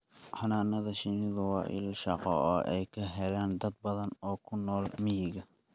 Xannaanada shinnidu waa il shaqo oo ay ka helaan dad badan oo ku nool miyiga.